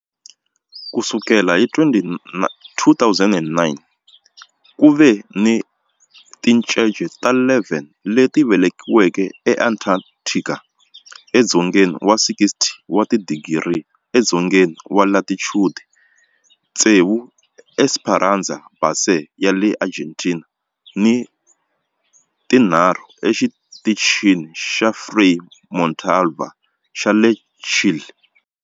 Ku sukela hi 2009, ku ve ni tincece ta 11 leti velekiweke eAntarctica edzongeni wa 60 wa tidigri edzongeni wa latitude, tsevu eEsperanza Base ya le Argentina ni tinharhu eXitichini xa Frei Montalva xa le Chile.